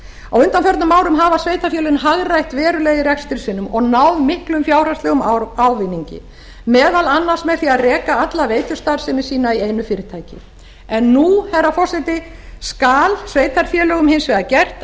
á undanförnum árum hafa sveitarfélögin hagrætt verulega í rekstri sínum og náð miklum fjárhagslegum ávinningi meðal annars með því að reka alla veitustarfsemi sína í einu fyrirtæki nú herra forseti skal sveitarfélögum hins vegar gert